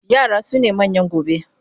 Yara su ne manyan gobe.